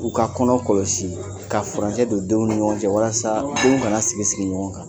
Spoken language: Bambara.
U ka kɔnɔ kɔlɔsi ka furancɛ don denw ni ɲɔgɔn cɛ walasa denw kana sigi sigi ɲɔgɔn kan.